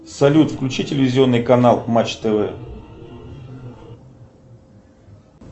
салют включи телевизионный канал матч тв